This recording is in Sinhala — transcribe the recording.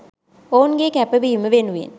ඔවුන්ගේ කැපවීම වෙනුවෙන්